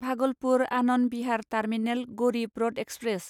Bhagalpur Anand Vihar terminal Garib Rath express